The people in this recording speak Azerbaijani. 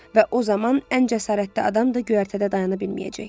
Və o zaman ən cəsarətli adam da göyərtədə dayana bilməyəcək.